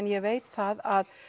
ég veit það að